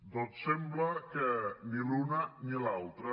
doncs sembla que ni l’una ni l’altra